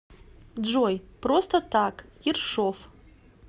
джой просто так ершов